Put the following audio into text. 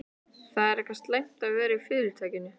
Það er eitthvað slæmt um að vera í Fyrirtækinu.